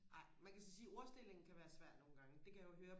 ej man kan så sige ordstillingen kan være svær nogle gange det kan jeg jo høre